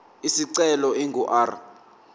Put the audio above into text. isicelo ingu r